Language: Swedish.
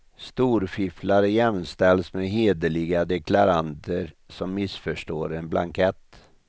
Storfifflare jämställs med hederliga deklaranter som missförstår en blankett.